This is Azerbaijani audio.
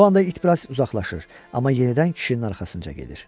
Bu anda it bir az uzaqlaşır, amma yenidən kişinin arxasınca gedir.